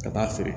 Ka taa feere